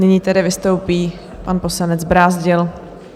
Nyní tedy vystoupí pan poslanec Brázdil.